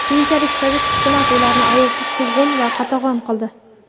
keyinchalik sovet hukumati ularni ayovsiz quvg‘in va qatag‘on qildi.